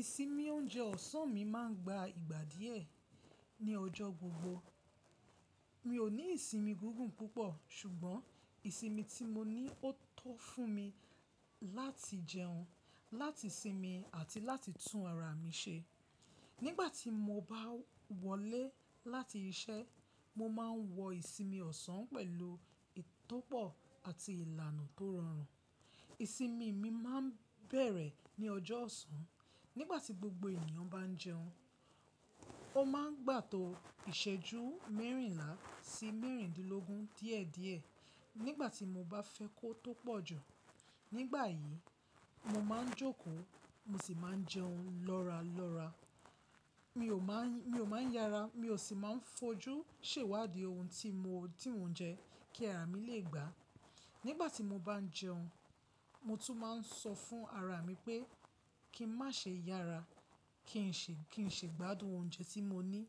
Ìsinmi oúnjẹ ọ̀sán mi máa ń gba ìgbà díẹ̀ ní ọjọ́ gbogbo. Mi ò ní ìsinmi gígùn púpọ̀, ṣùgbọ́n ìsinmi tí mo ní ó tó fún mi láti jẹun, láti sinmi àti láti tún ara mi ṣe. Nígbà tí mo bá wọlé láti iṣẹ́, mo máa ń wọ ìsinmi ọ̀sán pẹ̀lú ìtọ́pọ̀ àti ìlànà tó rọrùn. Ìsinmi mi máa ń bẹ̀rẹ̀ ní ọjọ́ ọ̀sán. Nígbà tí gbogbo ènìyàn bá ń jẹun, ó máa ń gbà tó ìṣẹ́jú mẹ́rìnlá sí mẹ́rìndínlógún díẹ̀ díẹ̀. Nígbà tí mo bá fẹ́ kó tó pọ̀jù, nígbà yìí mo máa ń jókòó, mo sì máa ń jẹun lọ́ra lọ́ra. Mi ò máa ń, mi ò máa ń yára, mi ò sì máa ń fojú sèwádi ohun tí mo, ti mo n jẹ kí ara mi lè gbá. Nígbà tí mo bá ń jẹun, mo tún máa ń sọ fún ara mi pé kí n má ṣe yára, kí n ṣe, kí n ṣe gbádùn oúnjẹ tí mo ní.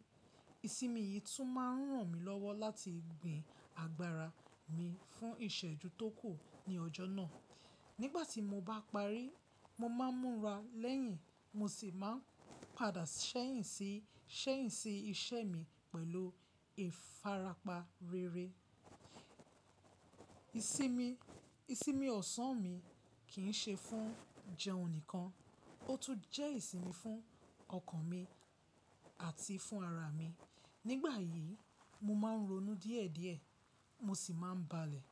Ìsinmi yìí tún máa ń ràn mí lọ́wọ́ láti gbin agbára mi fún ìṣẹ́jú tó kù ní ọjọ́ náà. Nígbà tí mo bá parí, mo máa ń múra lẹ́yìn, mo sì máa ń padà ṣẹ́yìn sí, ṣẹ́yìn sí iṣẹ́ mi pẹ̀lú ìfarapa rere. Ìsinmi, ìsinmi ọ̀sán mi kì ń ṣe fún jẹun nìkan, ó tún jẹ́ ìsinmi fún ọkàn mi àti fún ara mi. Nígbà yìí, mo máa ń ronú díẹ̀ díẹ̀, mo sì máa ń balẹ̀.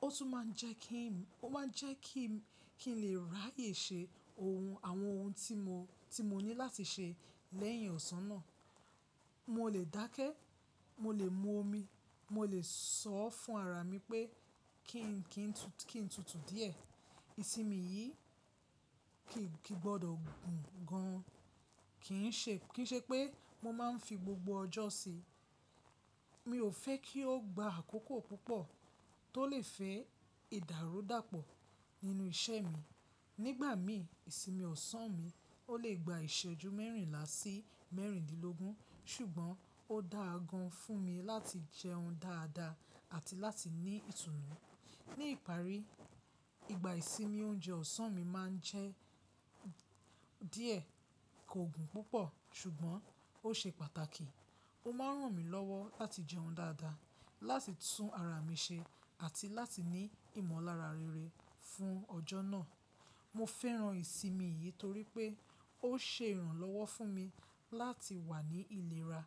Ó tún máa ń jẹ́ kí n, ó máa ń jẹ́ kí n, ki n lè ráyè ṣe ohun àwọn ohun tí mo, tí mo ní láti ṣe lẹ́yìn ọ̀sán náà. Mo lè dákẹ́, mo lè mu omi, mo lè sọ fún ara mi pé kí n, kí n tutù díẹ̀. Ìsinmi yìí kì ń, kì í gbọdọ̀ gùn gan, kì ń ṣe, kì í ṣe pé mo máa ń fi gbogbo ọjọ́ ṣi. Mi ò fẹ́ kí ó gba àkókò púpọ̀ tó lè fẹ́ ìdàrúdàpọ̀ nínú iṣẹ́ mi. Nígbà mií, ìsinmi ọ̀sán mi ó lè gba ìṣẹ́jú mẹ́rìnlá sí mẹ́rìndínlógún, ṣùgbọ́n ó dáa gan fún mi láti jẹun dáadáa àti láti ní ìtùnú. Ní ìparí, ìgbà ìsinmi oúnjẹ ọ̀sán mi máa ń jẹ́ díẹ̀, kò gùn púpọ̀, ṣùgbọ́n ó ṣe pàtàkì. Ó máa ń ràn mí lọ́wọ́ láti jẹun dáadáa, láti tún ara mi ṣe àti láti ní ìmọ̀lára rere fún ọjọ́ náà. Mo fẹ́ràn ìsinmi yìí torí pé ó ṣe ìrànlọ́wọ́ fún mi láti wà ní ìlera,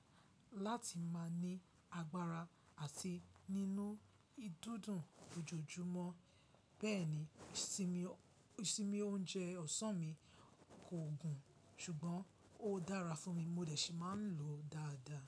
láti máa ní agbára àti nínú ìdúndùn lojoojúmọ́. Bẹ́ẹ̀ ni, ìsinmi, ìsinmi oúnjẹ ọ̀sán mi kò gùn, ṣùgbọ́n ó dára fún mi. Mo dẹ̀ ṣì máa ń lòó dáadáa.